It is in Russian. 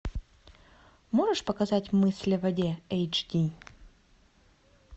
можешь показать мысли в воде эйч ди